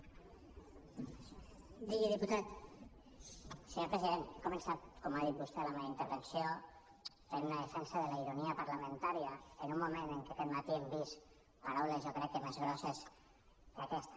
senyor president he començat com ha dit vostè la meva intervenció fent una defensa de la ironia parlamentària en un moment en què aquest matí hem vist paraules jo crec que més grosses que aquesta